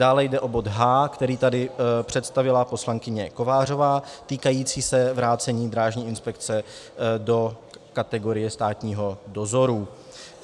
Dále jde o bod H, který tady představila poslankyně Kovářová, týkající se vrácení Drážní inspekce do kategorie státního dozoru.